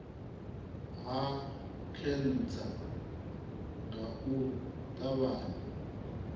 ha khentsa nga u ṱavhanya